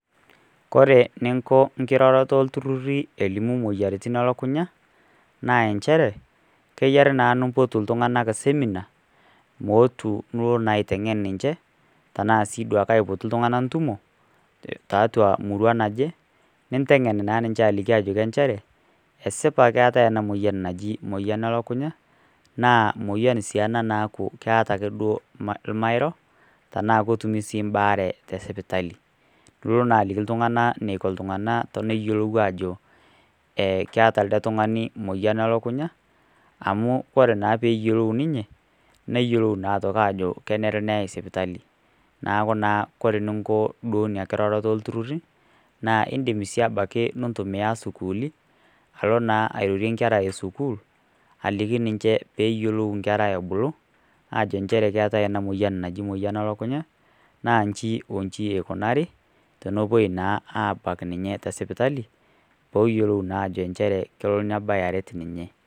Kore ninko enkirorroto o iltururri elimu moyiariti e lukunya, naa enchere, keyare naa nimpotu iltungana esemina, meotu naa aiteng'en ninche, tana sii duake aipotu iltung'ana ntumo, tiatau emurua naje, nintengen naa ninche ajoki enchere, esipa keetai ena moyian naji moyian e lukunya naa moyian sii duo ake ena naaku keata sii duo ilmairo, tanaa ketumi sii mbaare te sipitali. Nilo na aliki iltung'ana eneiko iltung'ana teneyolou aajo, e keata oltung'ani moyian e lukunya amu ore naa pee eyiolou ninye, neyolou naa ajo kenare neyai sipitali. Neaku naa ore eninko ina kiroroto o iltururi, naa indim abaiki nintumiya isukuli alo naa airorie inkera e sukuul, aliki ninche pee eyiolou inkera ebulu ajo nchere keatai ena moyian naji emoyian o lukunya, naa inchi o nchi eikunaari, tenepuoi naa abak ninye te sipitali pee eyolou naa nchere ajo kelo nebayoroti ninye.